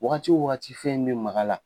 Wagati o wagati fɛn in bɛ mag'a la.